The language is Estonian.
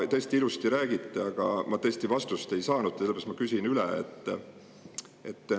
Tõesti ilusti räägite, aga ma vastust ei saanud, sellepärast küsin üle.